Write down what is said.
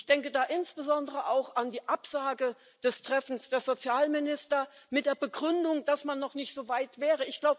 Ich denke da insbesondere auch an die Absage des Treffens der Sozialminister mit der Begründung, dass man noch nicht so weit wäre.